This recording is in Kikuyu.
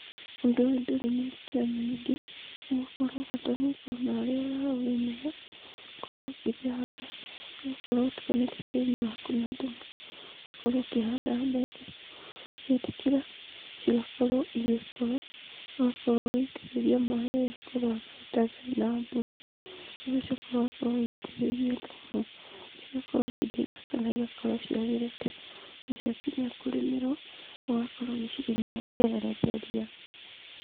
Ũndũ ũyũ ndũrĩ mĩrutĩre mĩingĩ, nĩgũkorwo bata nĩũkorwo na harĩa ũraũrĩmĩra, ũgakorwo ũgĩcihanda, ũgakorwo ũtukanĩtie tĩri waku na thumu, ũgakorwo ũkĩhanda mbembe. Cietĩkĩra, cigakorwo cigĩkũra, ũgakorwo ũgĩitĩrĩria maaĩ rĩrĩa kwara na gũtarĩ na mbura, ũgacoka ũgakorwo ũgĩitĩrĩria thumu cigakorwo cirĩ thaka naigakorwo ciagĩrĩte, na cia kinya kũrĩmĩrwo, ũgakorwo ũgĩcirĩmĩra ũkehereria ria.